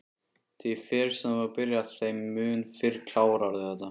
Því fyrr sem þú byrjar þeim mun fyrr klárarðu þetta